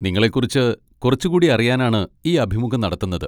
നിങ്ങളെക്കുറിച്ച് കുറച്ചുകൂടി അറിയാനാണ് ഈ അഭിമുഖം നടത്തുന്നത്.